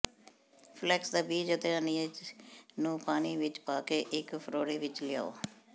flex ਦਾ ਬੀਜ ਅਤੇ ਅਨੀਜ਼ ਨੂੰ ਪਾਣੀ ਵਿੱਚ ਪਾਕੇ ਇੱਕ ਫ਼ੋੜੇ ਵਿੱਚ ਲਿਆਓ